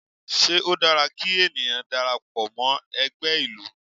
Ṣé ó dára kí ènìyàn darapọ̀ mọ́ ẹgbẹ́ ìlú?